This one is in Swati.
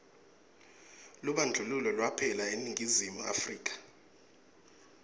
lubandlululo lwaphela eningizimu afrika